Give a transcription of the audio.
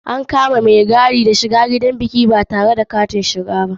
An kama wani mai gadi da laifin barin wani shiga gidan biki batare da katin shiga ba.